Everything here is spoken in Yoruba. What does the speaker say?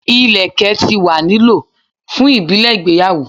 Ilẹkẹ ti wa ni lo fun ibile igbeyawo